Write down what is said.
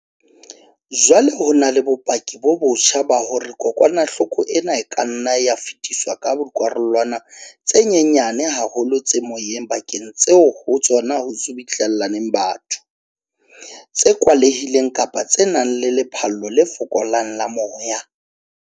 Jwale ho na le bopaki bo botjha ba hore kokwanahloko ena e ka nna ya fetiswa ka dikarolwana tse nyenyane haholo tse moyeng dibakeng tseo ho tsona ho subuhlellaneng batho, tse kwalehileng kapa tse nang le lephallo le fokolang la moya.